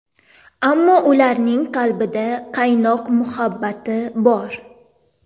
Ammo ularning qalbida qaynoq muhabbati bor.